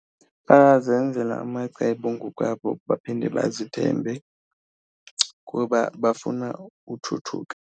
Bayazenzela amacebo ngokwabo baphinde bazithembe kuba bafuna uthuthuka.